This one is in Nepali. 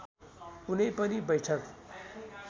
कुनै पनि बैठक